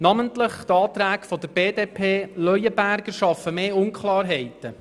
Namentlich die Anträge BDP/Leuenberger schaffen mehr Unklarheiten.